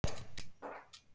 Því fer fjarri.